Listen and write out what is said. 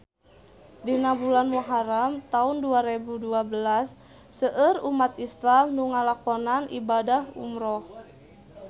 Dina bulan Muharam taun dua rebu dua belas seueur umat islam nu ngalakonan ibadah umrah